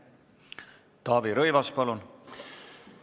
Taavi Rõivas, palun!